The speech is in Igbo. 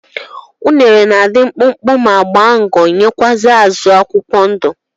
unere na adi mkpụkpụ ma gba ngo nwekwa azu akwukwọ ndu